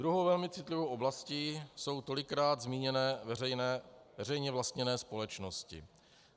Druhou velmi citlivou oblastí jsou tolikrát zmíněné veřejně vlastněné společnosti.